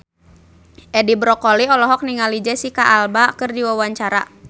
Edi Brokoli olohok ningali Jesicca Alba keur diwawancara